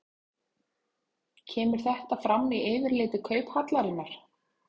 Kemur þetta fram í yfirliti Kauphallarinnar